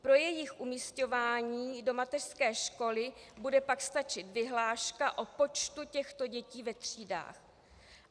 Pro jejich umisťování do mateřské školy bude pak stačit vyhláška o počtu těchto dětí ve třídách.